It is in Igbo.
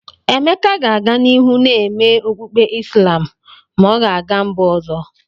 Emeka ga-aga n'ihu na-eme okpukpe Islam ma ọ ga-aga mba ọzọ.